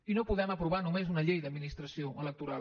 i no podem aprovar només una llei d’administració electoral